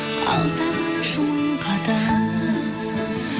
ал сағыныш мың қадам